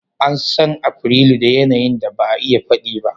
An san Afrilu da yanayin da ba a iya faɗi ba.